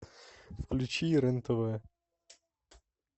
включи рен тв